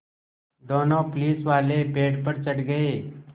दोनों पुलिसवाले पेड़ पर चढ़ गए